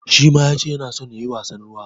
Shi ma ya ce yana so ya yi wasan ruwa.